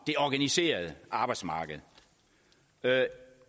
det organiserede arbejdsmarked det